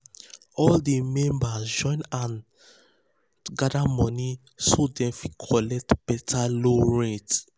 all di members join hand join hand gather money so dem fit collect better loan rate.